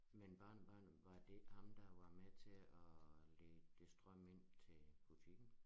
Men barnebarnet var det ikke ham der var med til at lede strøm ind til butikken